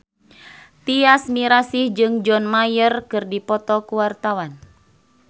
Tyas Mirasih jeung John Mayer keur dipoto ku wartawan